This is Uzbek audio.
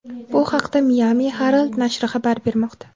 Bu haqda Miami Herald nashri xabar bermoqda .